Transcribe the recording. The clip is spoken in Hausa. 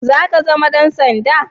Za ka zama Dan sanda?